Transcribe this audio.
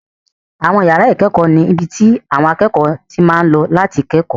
Àwọn yàrá ìkẹ́kọ̀ọ́ ni ibi tí àwọn akẹ́kọ̀ọ́ ti máa ń lọ láti kẹ́kọ̀ọ́